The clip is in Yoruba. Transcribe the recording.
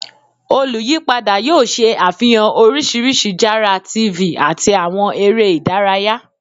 Oluyipada yoo ṣe afihan oriṣiriṣi jara TV ati awọn ere idaraya